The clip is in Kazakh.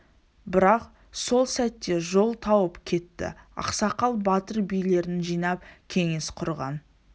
бірақ сол сәтте жол тауып кетті ақсақал батыр билерін жинап кеңес құрған